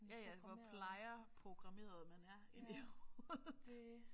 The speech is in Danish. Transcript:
Ja ja hvor plejer programmeret man er inde i hovedet